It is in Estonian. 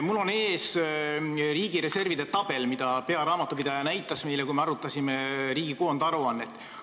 Mul on ees riigi reservide tabel, mida pearaamatupidaja näitas meile, kui me arutasime riigi koondaruannet.